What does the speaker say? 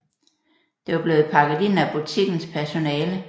Det var blevet pakket ind af butikkens personale